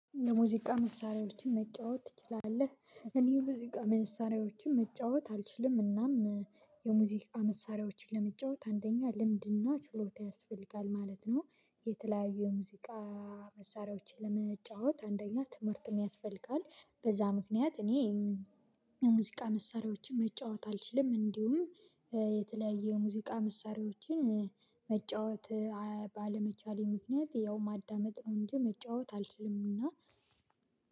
የሙዚቃ መሳሪያዎችን መጫወት ትችላለህ? እኔ የሙዚቃ መሳሪያዎችን መጫወት አልችልም። እናም የሙዚቃ መሳሪያዎችን ለመጫወት አንደኛ ልምድና ችሎታ ያስፈልጋል። ማለት ነው የተለያዩ የሙዚቃ መሳሪያዎችን ለመጫወት አንደኛ ትምህርትም ያስፈልጋል በዛ ምክንያት እኔ የሙዚቃ መሳሪያዎችን መጫወት አልችልም። እንዲሁም የተለያየ የሙዚቃ መሳሪያዎችን መጫወት ባለመቻሌ ምክንያት ያው ማዳመጥ ነው። እንጂ መጫወት አልችልም እና